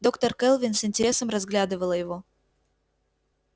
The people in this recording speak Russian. доктор кэлвин с интересом разглядывала его